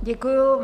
Děkuji.